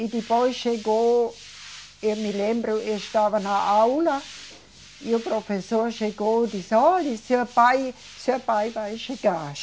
E depois chegou. Eu me lembro, eu estava na aula e o professor chegou e disse, olha, seu pai, seu pai vai chegar.